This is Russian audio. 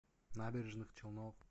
набережных челнов